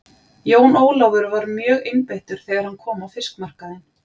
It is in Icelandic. Jón Ólafur var mjögeinbeittur þegar hann kom á fiskmarkaðinn.